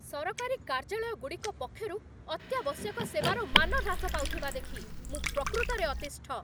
ସରକାରୀ କାର୍ଯ୍ୟାଳୟଗୁଡ଼ିକ ପକ୍ଷରୁ ଅତ୍ୟାବଶ୍ୟକ ସେବାର ମାନ ହ୍ରାସ ପାଉଥିବା ଦେଖି ମୁଁ ପ୍ରକୃତରେ ଅତିଷ୍ଠ।